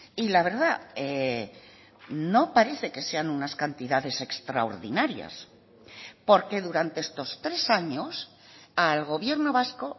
y la verdad no parece que sean unas cantidades extraordinarias porque durante estos tres años al gobierno vasco